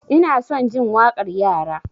Ina son jin waƙar yara.